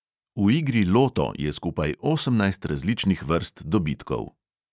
V igri loto je skupaj osemnajst različnih vrst dobitkov.